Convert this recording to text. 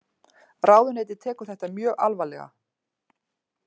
Ráðuneytið tekur þetta mjög alvarlega